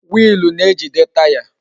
Wiilu na-ejide Taya